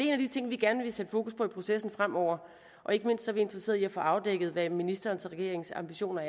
en af de ting vi gerne vil sætte fokus på i processen fremover og ikke mindst er vi interesseret i få afdækket hvad ministerens og regeringens ambitioner